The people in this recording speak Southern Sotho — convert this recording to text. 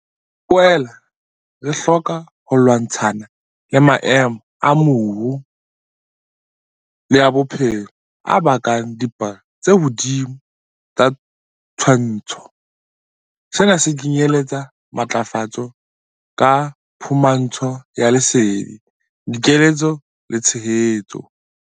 Re boela re hloka ho lwantshana le maemo a moru le a bophelo a bakang dipalo tse hodimo tsa tshwaetso. Sena se kenyeletsa matlafatso ka phumantsho ya lesedi, dikeletso le tshehetso.